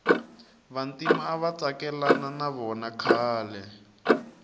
vantima avatsikilana navona khale